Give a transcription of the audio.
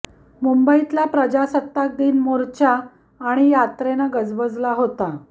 मुंबईतला प्रजासत्ताक दिन मोर्चा आणि यात्रेनं गजबजला होता